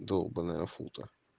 долбаная фута